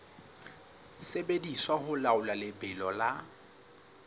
sebediswa ho laola lebelo la